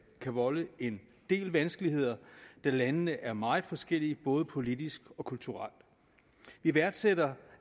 kan volde en del vanskeligheder da landene er meget forskellige både politisk og kulturelt vi værdsætter